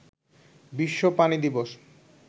বিশ্ব পানি দিবস